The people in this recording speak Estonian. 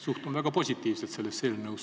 Suhtun väga positiivselt sellesse eelnõusse ...